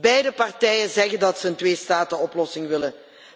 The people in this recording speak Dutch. Beide partijen zeggen dat ze een tweestatenoplossing willen.